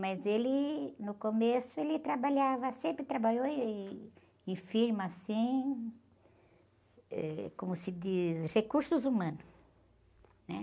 Mas ele, no começo, ele trabalhava, sempre trabalhou em, em firma, assim, ãh, como se diz, recursos humanos.